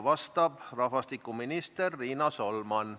Vastab rahvastikuminister Riina Solman.